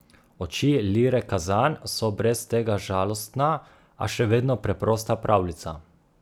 Oči Lire Kazan so brez tega žalostna, a še vedno preprosta pravljica.